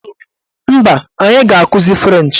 Mba, anyị ga-akụzi frenchị.